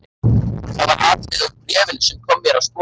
Það var atriði úr bréfinu sem kom mér á sporið.